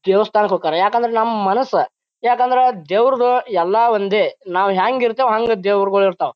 ದೇವಸ್ಥಾನಕ್ ಹೊಕ್ಕರ ಯಾಕಂದ್ರ ನಮ್ಮ್ ಮನಸ ಯಾಕಂದ್ರ ದೇವ್ರುಗ ಎಲ್ಲ ಒಂದೇ ನಾವು ಹೆಂಗ್ ಇರ್ತೇವ ಹಂಗ್ ದೇವ್ರಗೊಳ್ ಇರ್ತಾವ.